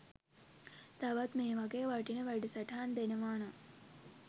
තවත් මේ වගේ වටින වැඩසටහන් දෙනවා නම්